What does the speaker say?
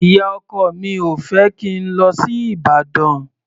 Ìyá-ọkọ mi ò fẹ́ kí n lọ sí Ìbàdàn.